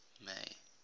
may